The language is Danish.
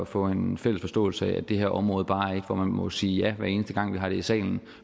få en fælles forståelse af at det her område bare er et hvor man må sige ja hver eneste gang vi har det i salen